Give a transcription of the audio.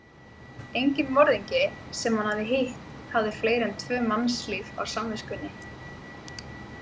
Enginn morðingi sem hann hafði hitt hafði fleiri en tvö mannslíf á samviskunni.